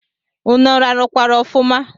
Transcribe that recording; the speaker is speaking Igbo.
Ụnụ rarukwara ọfuma?